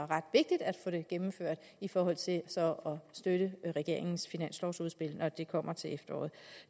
ret vigtigt at få det gennemført i forhold til så støtte regeringens finanslovsudspil når det kommer til efteråret